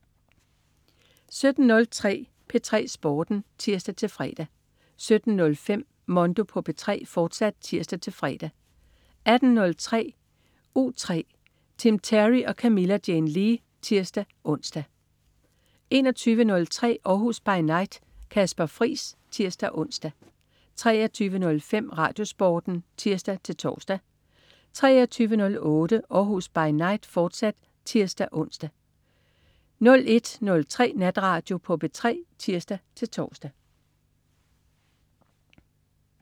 17.03 P3 Sporten (tirs-fre) 17.05 Mondo på P3, fortsat (tirs-fre) 18.03 U3. Tim Terry og Camilla Jane Lea (tirs-ons) 21.03 Århus By Night. Kasper Friis (tirs-ons) 23.05 RadioSporten (tirs-tors) 23.08 Århus By Night, fortsat (tirs-ons) 01.03 Natradio på P3 (tirs-tors)